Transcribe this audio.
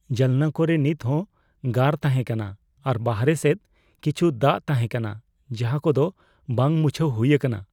ᱡᱟᱱᱞᱟ ᱠᱚᱨᱮ ᱱᱤᱛᱦᱚᱸ ᱜᱟᱨ ᱛᱟᱦᱮᱸ ᱠᱟᱱᱟ, ᱟᱨ ᱵᱟᱦᱨᱮ ᱥᱮᱫ ᱠᱤᱪᱷᱩ ᱫᱟᱜ ᱛᱟᱦᱮᱸ ᱠᱟᱱᱟ ᱡᱟᱦᱟ ᱠᱚᱫᱚ ᱵᱟᱟᱝ ᱢᱩᱪᱷᱟᱹᱣ ᱦᱩᱭ ᱟᱠᱟᱱᱟ ᱾